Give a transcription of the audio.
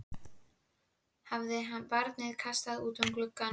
Hafði barnið kastast út um gluggann?